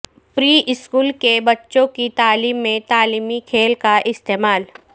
پری school کے بچوں کی تعلیم میں تعلیمی کھیل کا استعمال